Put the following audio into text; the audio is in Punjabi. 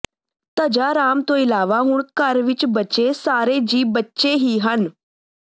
ਧੱਜਾ ਰਾਮ ਤੋਂ ਇਲਾਵਾ ਹੁਣ ਘਰ ਵਿੱਚ ਬਚੇ ਸਾਰੇ ਜੀਅ ਬੱਚੇ ਹੀ ਹਨ